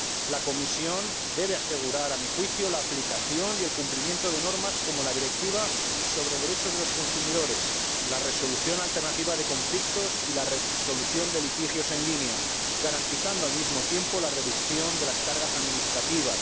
La Comisión debe asegurar, a mi juicio, la aplicación y el cumplimiento de normas como la Directiva sobre los derechos de los consumidores, la resolución alternativa de conflictos y la resolución de litigios en línea, garantizando, al mismo tiempo, la reducción de las cargas administrativas.